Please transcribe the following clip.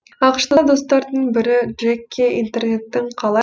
ақш та достардың бірі джекке интернеттің қалай